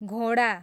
घोडा